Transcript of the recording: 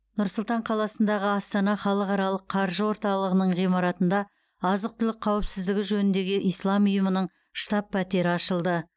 нұр сұлтан қаласындағы астана халықаралық қаржы орталығының ғимаратында азық түлік қауіпсіздігі жөніндегі ислам ұйымының штаб пәтері ашылды